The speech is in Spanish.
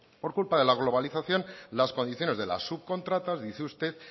por culpa de la globalización las condiciones de las subcontratas dice usted